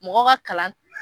Mɔgɔ ka kalan